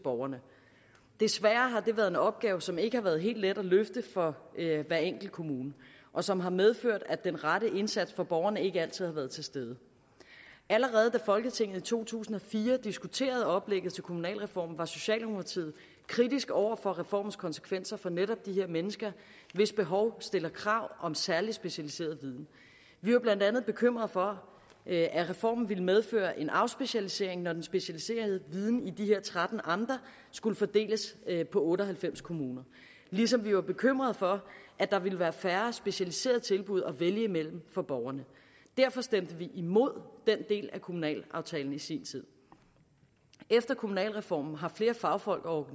borgerne desværre har det været en opgave som ikke har været helt let at løfte for hver enkelt kommune og som har medført at den rette indsats for borgerne ikke altid har været til stede allerede da folketinget i to tusind og fire diskuterede oplægget til kommunalreformen var socialdemokratiet kritisk over for reformens konsekvenser for netop de her mennesker hvis behov stiller krav om særlig specialiseret viden vi var blandt andet bekymret for at reformen ville medføre en afspecialisering når den specialiserede viden i de her tretten amter skulle fordeles på otte og halvfems kommuner ligesom vi var bekymret for at der ville være færre specialiserede tilbud at vælge imellem for borgerne derfor stemte vi imod den del af kommunalaftalen i sin tid efter kommunalreformen har flere fagfolk og